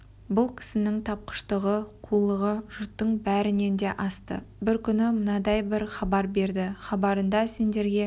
бұл кісінің тапқыштығы қулығы жұрттың бәрінен де асты бір күні мынандай бір хабар берді хабарында сендерге